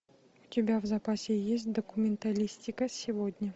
у тебя в запасе есть документалистика сегодня